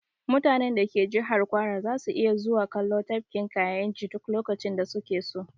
Mutanen da ke jihar kwara zasu iya zuwa kallon tafkin kayinji duk lokacin da su ke so